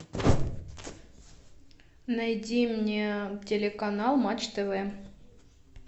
найди мне телеканал матч тв